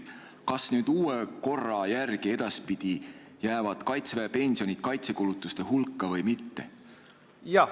Kas nüüd uue korra järgi edaspidi jäävad Kaitseväe pensionid kaitsekulutuste hulka või mitte?